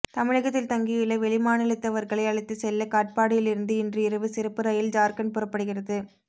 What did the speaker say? தமிழகத்தில் தங்கியுள்ள வெளிமாநிலத்தவர்களை அழைத்துச் செல்ல காட்பாடியில் இருந்து இன்று இரவு சிறப்பு ரயில் ஜார்க்கண்ட் புறப்படுகிறது